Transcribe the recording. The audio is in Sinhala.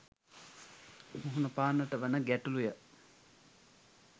මුහුණපාන්නට වන ගැටළු ය.